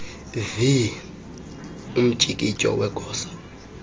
vii umtyikityo wegosa